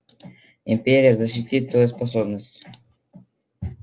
империя защитит свою собственность